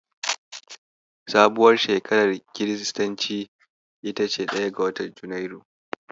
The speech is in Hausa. Sabuwar shekarar kiristanci ita ce ɗaya ga watan Junairu.